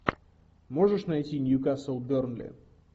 можешь найти ньюкасл бернли